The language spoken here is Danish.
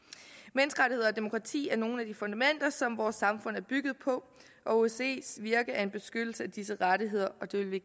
menneskerettigheder og demokrati er nogle af de fundamenter som vores samfund er bygget på osces virke er en beskyttelse af disse rettigheder og det vil vi